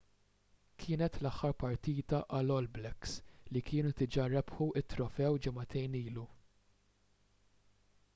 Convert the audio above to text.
kienet l-aħħar partita għall- all blacks” li kienu diġà rebħu t-trofew ġimagħtejn ilu